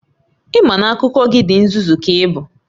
Ị ma na akụkọ gị di nzuzu ka ị bụ?